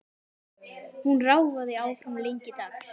Hún ráfaði áfram lengi dags.